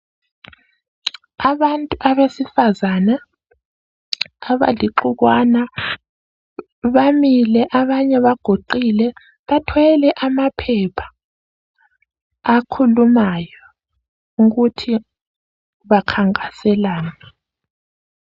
Abantu abesifazana abalixukwana bamile abanye baguqile, bathwele amaphepha akhulumayo ukuthi bakhankaselani.